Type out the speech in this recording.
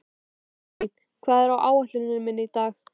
Árný, hvað er á áætluninni minni í dag?